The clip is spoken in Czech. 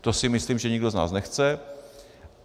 To si myslím, že nikdo z nás nechce.